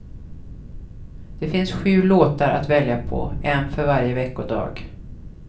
Det finns sju låtar att välja på, en för varje veckodag.